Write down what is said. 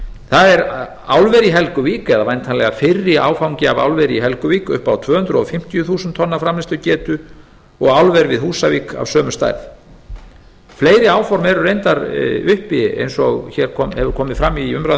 það er álver í helguvík eða væntanlega fyrri áfangi að álveri í helguvík upp á tvö hundruð fimmtíu þúsund tonna framleiðslugetu og álver við húsavík af sömu stærð álveri áform eru reyndar uppi eins og hér hefur komið fram í umræðum á